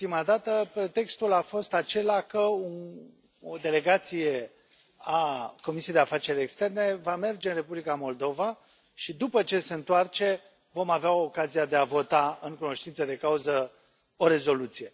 Ultima dată pretextul a fost acela că o delegație a Comisiei de afaceri externe va merge în Republica Moldova și, după ce se întoarce, vom avea ocazia de a vota în cunoștință de cauză o rezoluție.